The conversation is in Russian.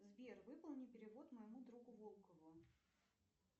сбер выполни перевод моему другу волкову